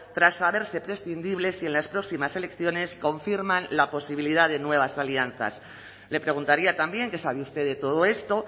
tras saberse prescindibles si en las próximas elecciones confirman la posibilidad de nuevas alianzas le preguntaría también qué sabe usted de todo esto